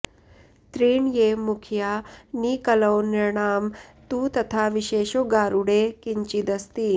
त्रीण्येव मुख्या नि कलौ नृणां तु तथा विशेषो गारुडे किञ्चिदस्ति